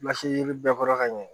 yiri bɛɛ kɔrɔ ka ɲɛ